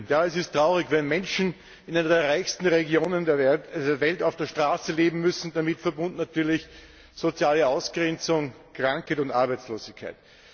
Ja, es ist traurig, wenn Menschen in einer der reichsten Regionen der Welt auf der Straße leben müssen, damit verbunden natürlich soziale Ausgrenzung, Krankheit und Arbeitslosigkeit.